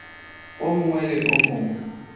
o mongwe le o mongwe